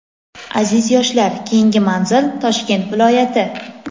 Aziz yoshlar, keyingi manzil Toshkent viloyati!.